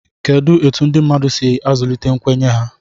kedu ka ndị mmadụ si azụlite nkwenye ha